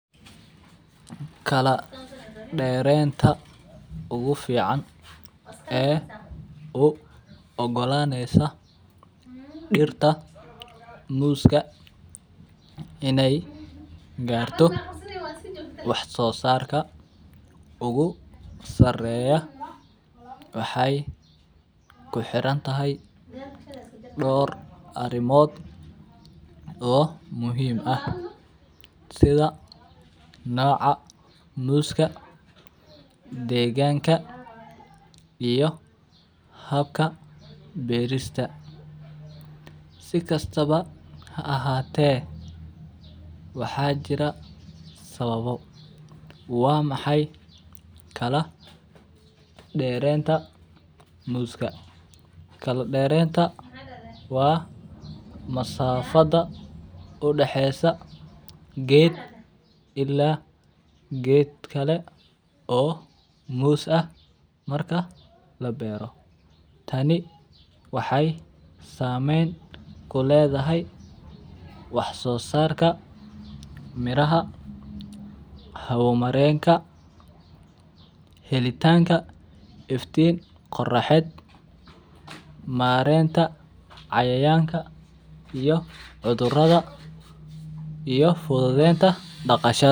Kala derenta ugu fican ee ugu ogolanesa dirta muska in ee garto wax sosarka ogu sareya waxee ku xirantahay dor arimod oo muhiim ah sitha noca muska deganka iyo habka beerista si kastawa ha ahate waxaa jira sawabo, waa maxay derenta muska kala derenta waa masafaada udaxesa geed ila geed kale oo mus ah marka labero tani waxee samen kuledhahay wax sosarka miraha wax marenka helitanka iftin qoraxeed marenta cayayanka iyo cudhuraada iyo fududenta daqashaada.